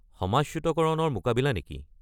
সমাজচ্যুতকৰণৰ মোকাবিলা' নেকি?